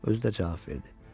Özü də cavab verdi.